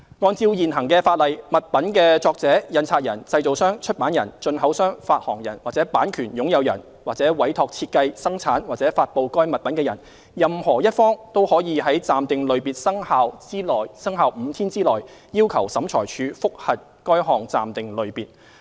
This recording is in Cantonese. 按照現行法例，物品的作者、印刷人、製造商、出版人、進口商、發行人或版權擁有人，或委託設計、生產或發布該物品的人，任何一方均可於暫定類別生效5天內，要求審裁處覆核該項暫定類別。